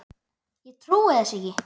Ég trúi þessu ekki!